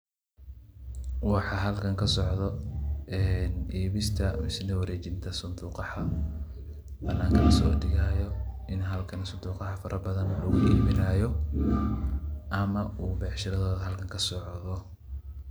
Waxaa halkan kasocdoh ee ibistaa warejeenta sonddoqaha waxan bananka la so degayo ini halkan sunduqaha farabadn lagu ibiyoh amah oo beecsharadoda halkan kasocdoh.